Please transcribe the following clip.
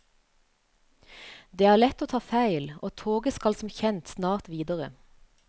Det er lett å ta feil, og toget skal som kjent snart videre.